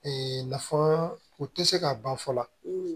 nafa o tɛ se ka ban fɔlɔ